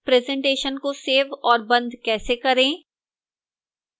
presentation को save और बंद कैसे करें